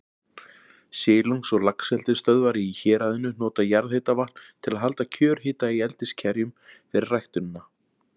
Silungs- og laxeldisstöðvar í héraðinu nota jarðhitavatn til að halda kjörhita í eldiskerjum fyrir ræktunina.